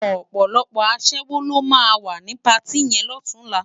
Òpòlòpò aṣèwó ló má wá ni párti yèn lòtúnlá